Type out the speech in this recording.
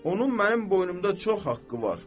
Onun mənim boynumda çox haqqı var.